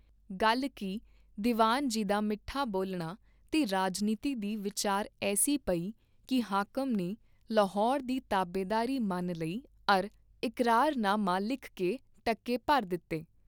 ਗੱਲ ਕੀਹ ਦੀਵਾਨ ਜੀ ਦਾ ਮਿੱਠਾ ਬੋਲਣਾ ਤੇ ਰਾਜਨੀਤੀ ਦੀ ਵੀਚਾਰ ਐੱਸੀ ਪਈ ਕੀ ਹਾਕਮ ਨੇ ਲਾਹੌਰ ਦੀ ਤਾਬੇਦਾਰੀ ਮੰਨ ਲਈ ਅਰ ਇਕਰਾਰ ਨਾਮਾ ਲਿਖ ਕੇ ਟਕੇ ਭਰ ਦਿਤੇ।